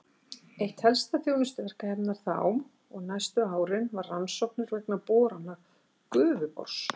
Eitt helsta þjónustuverkefni hennar þá og næstu árin var rannsóknir vegna borana Gufubors.